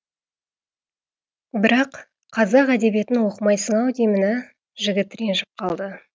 бірақ қазақ әдебиетін оқымайсың ау деймін ә жігіт ренжіп қалды